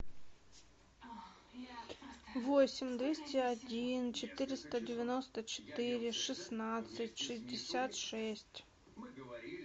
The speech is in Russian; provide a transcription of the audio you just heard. восемь двести один четыреста девяносто четыре шестнадцать шестьдесят шесть